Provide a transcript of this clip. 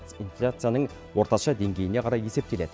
инфляцияның орташа деңгейіне қарай есептеледі